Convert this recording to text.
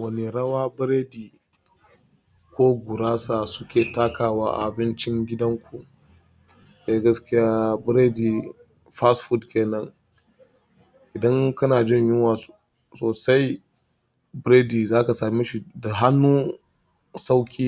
Wane rawa biredi ko gurasa suke takawa a abincin gidanku? Eh, gaskiya biredi, fast food kenan idan kana jin yunwa sosai biredi za ka same shi da hannu sauƙi